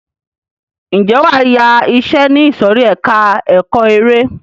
Ǹjẹ́ wàá yá iṣẹ ní ìsòrí ẹka ẹ̀kọ́ eré.